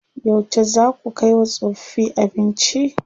Yauce zaa ku kai wa tsofaffi abinci?